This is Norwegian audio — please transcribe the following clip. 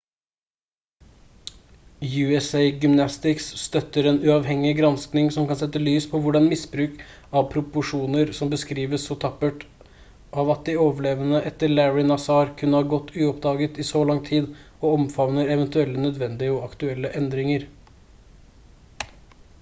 usa gymnastics støtter en uavhengig gransking som kan sette lys på hvordan misbruk av proporsjoner som beskrives så tappert av at de overlevende etter larry nassar kunne ha gått uoppdaget i så lang tid og omfavner eventuelle nødvendige og aktuelle endringer